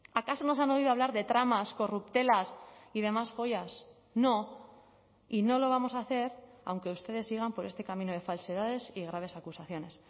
acaso nos han oído hablar de dramas corruptelas y demás joyas no y no lo vamos a hacer aunque ustedes sigan por este camino de falsedades y graves acusaciones